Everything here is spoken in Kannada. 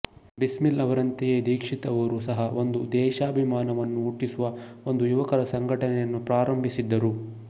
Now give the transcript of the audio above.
ಬಿಸ್ಮಿಲ್ ಅವರಂತೆಯೇ ದೀಕ್ಷಿತ್ ಅವರೂ ಸಹ ಒಂದು ಸ್ವದೇಶಾಭಿಮಾನವನ್ನು ಹುಟ್ಟಿಸುವ ಒಂದು ಯುವಕರ ಸಂಘಟನೆಯನ್ನು ಪ್ರಾರಂಭಿಸಿದ್ದರು